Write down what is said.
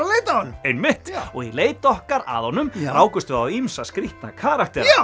að leita að honum einmitt og í leit okkar að honum rákumst við á ýmsa skrítna karaktera